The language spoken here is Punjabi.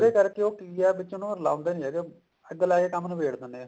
ਇਹਦੇ ਕਰਕੇ ਉਹ ਕੀ ਆ ਵਿੱਚ ਨੂੰ ਉਹ ਲਾਉਂਦੇ ਨੀ ਹੈਗੇ ਅੱਗ ਲਾਕੇ ਹੀ ਕੰਮ ਨਬੇੜ ਦਿੰਨੇ ਆ